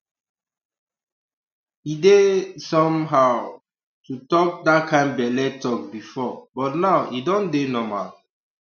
e dey um somehow um to talk that kind belle talk before but now e don dey normal